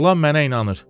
Oğlan mənə inanır.